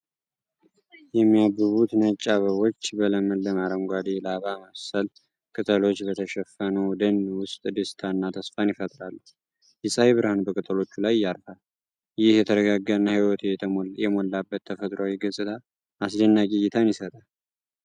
የሚያብቡት ነጭ አበቦች በለመለመ አረንጓዴ፣ ላባ መሰል ቅጠሎች በተሸፈነው ደን ውስጥ ደስታንና ተስፋን ይፈጥራሉ። የፀሐይ ብርሃን በቅጠሎቹ ላይ ያርፋል; ይህ የተረጋጋና ሕይወት የሞላበት ተፈጥሮአዊ ገጽታ አስደናቂ እይታን ይሰጣል።